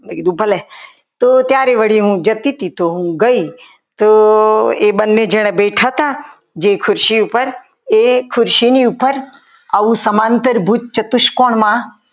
તો મેં કીધું ભલે તો ત્યારે હું જતી હતી ત્યારે ગઈ તો એ બંને જણ બેઠા હતા જે ખુરશી ઉપર એ ખુરશીની ઉપર આવ સમાંતર ભૂત ચતુષ્કોણમાં